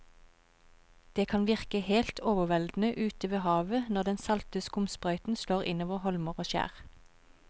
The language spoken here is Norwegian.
Det kan virke helt overveldende ute ved havet når den salte skumsprøyten slår innover holmer og skjær.